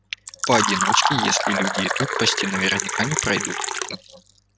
поодиночке если люди идут почти наверняка не пройдут